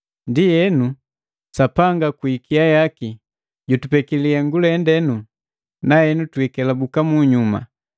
Ndienu, Sapanga kwi ikia yaki, jutupeki lihengu lende na henu twiikelabuka munyuma.